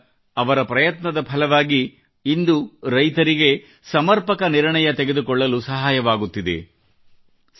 ಆದ್ದರಿಂದ ಅವರ ಪ್ರಯತ್ನದ ಫಲವಾಗಿ ಇಂದು ರೈತರಿಗೆ ನಿರ್ಣಯ ತೆಗೆದುಕೊಳ್ಳಲು ಸಹಾಯವಾಗುತ್ತಿದೆ